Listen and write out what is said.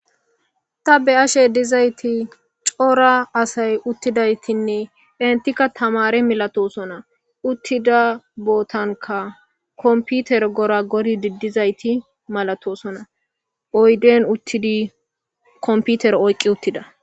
Ta be'ashe dizayti cora asay uttidaytinne ettikka tamare milatosona uttida bootanka komputer gora goridi dizayti malatosona oyden uttidi komputer oyqqi uttida.